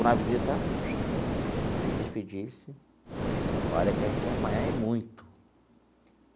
Quando a visita se despedisse, olha que a gente ia apanhar e muito.